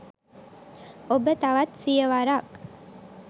ඔබ තවත් සිය වරක්